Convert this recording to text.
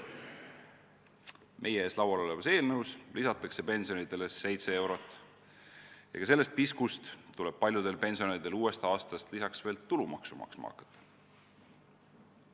Meie ees olevas eelnõus lisatakse pensionidele 7 eurot ja ka sellest piskust tuleb paljudel pensionäridel uuest aastast lisaks veel tulumaksu maksma hakata.